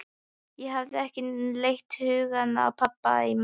Ég hafði ekki leitt hugann að pabba í mörg ár.